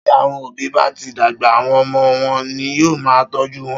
Tí àwọn òbí bá ti dàgbà, àwọn ọmọ wọn ní yóò máa tọ́jú wọn.